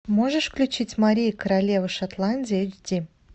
можешь включить мария королева шотландии эйч ди